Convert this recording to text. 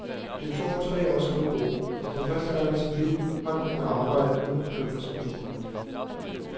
Det tog ham tre år at skrive bogen, og for første gang i sit liv har han kunnet arbejde uden at bekymre sig om økonomien.